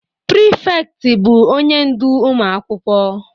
Prịfektị bụ onye ndu ụmụ akwụkwọ